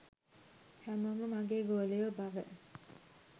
හැමෝම මගේ ගෝලයෝ බව